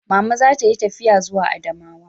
Mama za ta yi tafiya zuwa Adamawa